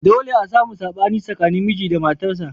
Dolle a samu sabani tsakanin miji da matarsa.